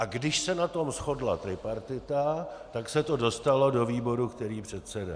A když se na tom shodla tripartita, tak se to dostalo do výboru, který předsedá.